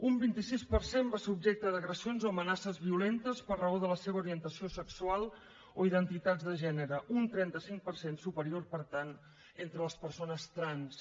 un vint sis per cent va ser objecte d’agressions o amenaces violentes per raó de la seva orientació sexual o identitats de gènere un trenta cinc per cent superior per tant entre les persones trans